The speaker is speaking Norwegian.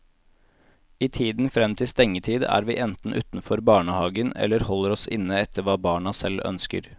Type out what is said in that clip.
I tiden frem til stengetid er vi enten utenfor barnehagen eller holder oss inne etter hva barna selv ønsker.